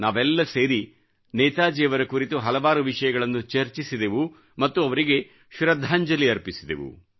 ನಾವೆಲ್ಲ ಸೇರಿ ನೇತಾಜಿಯವರ ಕುರಿತು ಹಲವಾರು ವಿಷಯಗಳನ್ನು ಚರ್ಚಿಸಿದೆವು ಮತ್ತು ಅವರಿಗೆ ಶೃದ್ಧಾಂಜಲಿ ಅರ್ಪಿಸಿದೆವು